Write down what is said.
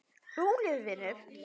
Rólegur vinur!